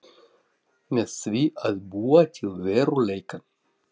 Með því að búa til veruleikann.